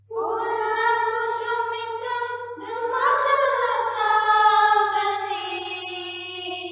ഫുല്ലകുസുമിതദ്രുമദളശോഭിനീം